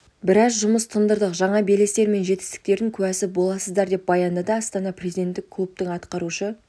біраз жұмыс тындырдық жаңа белестер мен жеңістердің куәсі боласыздар деп баяндады астана президенттік клубтың атқарушы